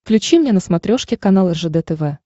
включи мне на смотрешке канал ржд тв